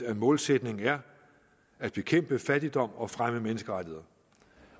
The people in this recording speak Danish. at målsætningen er at bekæmpe fattigdom og fremme menneskerettigheder